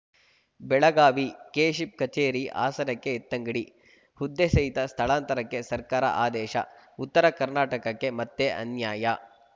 Belagavi KSHIP ಕಚೇರಿ ಹಾಸನಕ್ಕೆ ಎತ್ತಂಗಡಿ ಹುದ್ದೆ ಸಹಿತ ಸ್ಥಳಾಂತರಕ್ಕೆ ಸರ್ಕಾರ ಆದೇಶ ಉತ್ತರ ಕರ್ನಾಟಕಕ್ಕೆ ಮತ್ತೆ ಅನ್ಯಾಯ